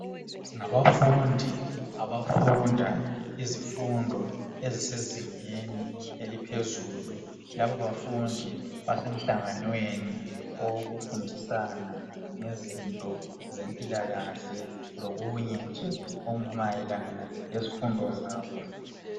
Ngabafundi abafunda izifundo ezisezingeni eliphezulu labo bafundi basemhlanganweni owokufundisana ngezinto zempilakahle lokunye nje okumayelana lezifundo zabo .